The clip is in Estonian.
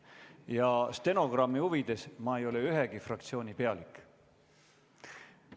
Ja stenogrammi huvides: ma ei ole ühegi fraktsiooni pealik.